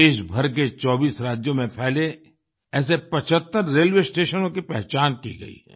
देशभर के 24 राज्यों में फैले ऐसे 75 रेलवे स्टेशनों की पहचान की गई है